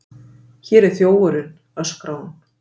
Hér er þjófurinn, öskrar hún.